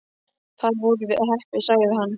Þar vorum við heppin sagði hann.